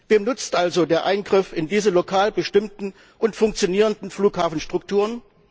Wem nutzt also der Eingriff in diese lokal bestimmten und funktionierenden Flughafenstrukturen?